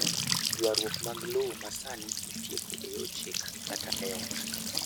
Ywarruok mag lowo ma sani itieko e yor chik kata e kot .